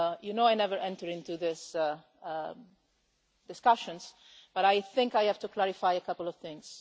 You know I never enter into these discussions, but I think I have to clarify a couple of things.